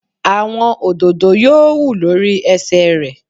Àwọn òdòdó yóò hù lórí ẹsẹ̀ rẹ̀